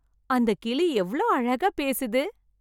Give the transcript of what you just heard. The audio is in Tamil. அந்தக் கிளி எவ்வளவு அழகா பேசுது.